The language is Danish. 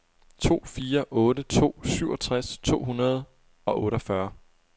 to fire otte to syvogtres to hundrede og otteogfyrre